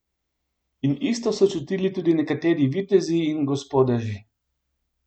In isto so čutili tudi nekateri vitezi in gospodeži.